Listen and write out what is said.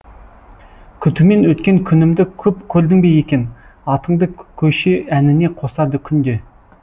күтумен өткен күнімді көп көрдің бе екен атыңды көше әніне қосады күнде